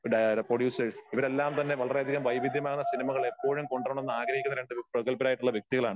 ഡയറ producers ഇവരെല്ലാം തന്നെ വളരെ അധികം വൈവിധ്യമാർന്ന സിനിമകൾ എപ്പോഴും കൊണ്ടുവരണം എന്ന് ആഗ്രഹിക്കുന്ന രണ്ട് പ്രഗൽബരായിട്ടുള്ള വ്യക്തികളാണ്.